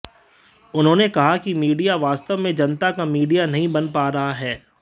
उन्होंने कहा कि मीडिया वास्तव में जनता का मीडिया नहीं बन पा रहा है